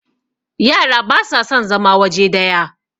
yara ba sa son zama waje daya